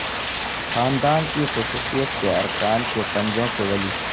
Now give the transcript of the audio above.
خاندان کی خصوصیت کے ارکان کے پنجوں کے ولی